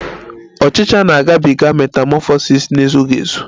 Ọchicha na-agabiga metamọfọsis na-ezughị ezu